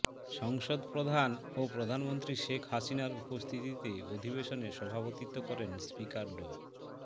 সংসদ প্রধান ও প্রধানমন্ত্রী শেখ হাসিনার উপস্থিতিতে অধিবেশনে সভাপতিত্ব করেন স্পিকার ড